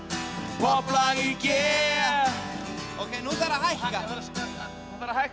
popplag í g nú þarf að hækka